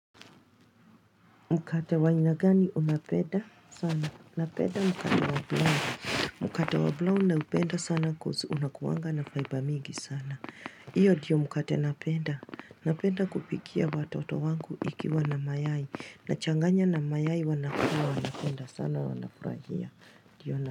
Mkate wa ainagani unapenda sana. Napenda mkate wa brown. Mkate wa brown na upenda sana coz unakuwanga na faiba mingi sana. Hiyo ndiyo mkate napenda. Napenda kupikia watoto wangu ikiwa na mayai. Nachanganya na mayai wanakula. Wanapenda sana wanafurahia. Ndio na.